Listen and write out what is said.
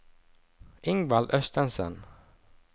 Ingvald Østensen